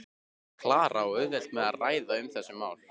Klara á auðvelt með að ræða um þessi mál.